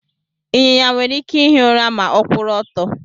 Ịnyịnya nwere ike ihi ura ma ọkwuru ọtọ.